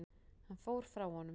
Hann fór frá honum.